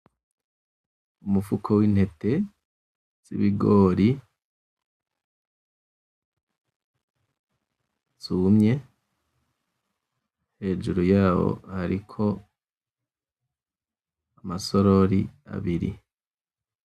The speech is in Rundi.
Umufuko w'intete z'ibigori zumye hejuru yaho hariko amasorori abiri.